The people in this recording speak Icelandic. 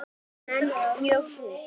Borgin er enn mjög ung.